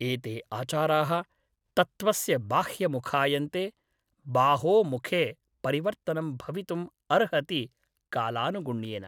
एते आचाराः तत्त्वस्य बाह्यमुखायन्ते । बाहो मुखे परिवर्तनं भवितुम् अर्हति कालानुगुण्येन ।